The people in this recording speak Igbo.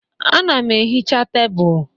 Ana m ehicha tebụl.